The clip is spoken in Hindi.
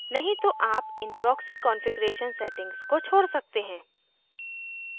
नहीं तो आप इन proxy कॉन्फ़िगरेशन setting को छोड़ सकते हैं